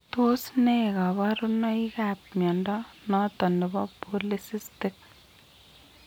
Tos nee kabarunaik ab mnyondo noton nebo Polycystic ?